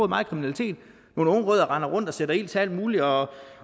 meget kriminalitet nogle unge rødder render rundt og sætter ild til alt muligt og